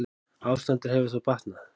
Ástandið hefur þó batnað.